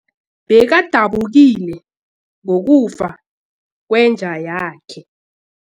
Bekadabukile ngokufa kwenja yakhe.